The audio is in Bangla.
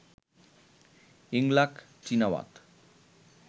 Yingluck Shinawatra